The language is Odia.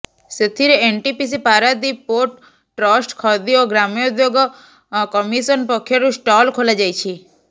ସେଥିରେ NTPC Paradip port trust Khadi ଓ ଗ୍ରାମୋଦ୍ୟୋଗ କମିଶନ ପକ୍ଷରୁ ଷ୍ଟଲ ଖୋଲାଯାଇଛି